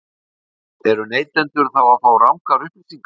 Höskuldur: Eru neytendur þá að fá rangar upplýsingar?